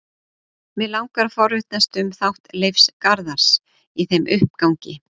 Mig langar að forvitnast um þátt Leifs Garðars í þeim uppgangi?